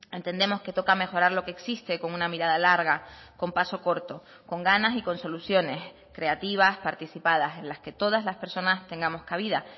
entendemos que toca mejorar lo que existe con una mirada larga con paso corto con ganas y con soluciones creativas participadas en las que todas las personas tengamos cabida